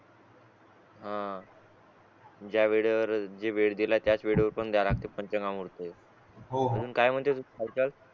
आ ज्या वेळेवर जे वेल दिलाय त्याच वेळेवर पण पण पंचांना मूर्त हो हो म्हणून काय म्हणजे